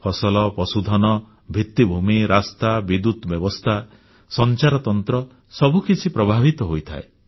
ଫସଲ ପଶୁଧନ ଭିତ୍ତିଭୂମି ରାସ୍ତା ବିଦ୍ୟୁତ ବ୍ୟବସ୍ଥା ସଂଚାରତନ୍ତ୍ର ସବୁକିଛି ପ୍ରଭାବିତ ହୋଇଥାଏ